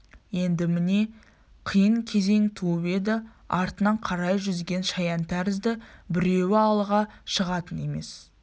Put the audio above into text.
енді міне қиын кезең туып еді артына қарай жүзген шаян тәрізді біреуі алға шығатын емес